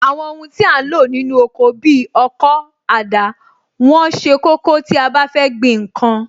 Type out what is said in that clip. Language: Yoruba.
Àwọn ohun tí a ń lò nínú oko bi ọkọ́, àdá, wọ́n ṣe kókó tí a bá fẹ́ gbìn ǹkan